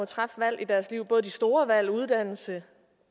træffe valg i deres liv hverken de store valg uddannelse